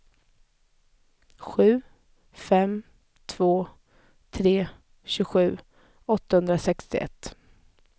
sju fem två tre tjugosju åttahundrasextioett